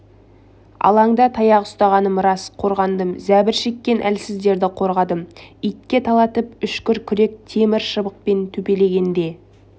алаңда таяқ ұстағаным рас қорғандым зәбір шеккен әлсіздерді қорғадым итке талатып үшкір күрек темір шыбықпен төпелегенде